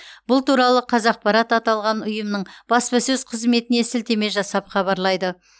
бұл туралы қазақпарат аталған ұйымның баспасөз қызметіне сілтеме жасап хабарлайды